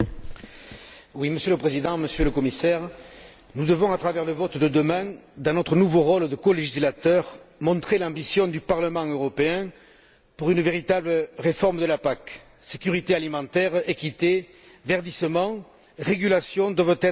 Monsieur le Président, Monsieur le Commissaire, nous devons à travers le vote de demain, dans notre nouveau rôle de colégislateur, montrer l'ambition du Parlement européen pour une véritable réforme de la PAC sécurité alimentaire, équité, verdissement, régulation doivent être au rendez vous.